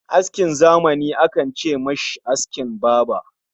Askin zamani akan ce mishi askin baba